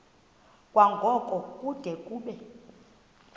kwango kude kube